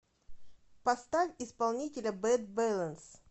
поставь исполнителя бэд бэлэнс